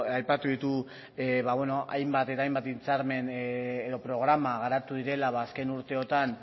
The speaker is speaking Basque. aipatu ditu hainbat eta hainbat hitzarmen edo programa garatu direla azken urteotan